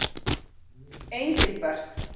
Engilbert